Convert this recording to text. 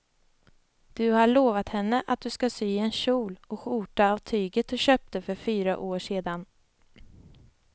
Du har lovat henne att du ska sy en kjol och skjorta av tyget du köpte för fyra år sedan.